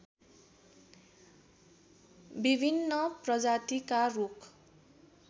विभिन्न प्रजातिका रूख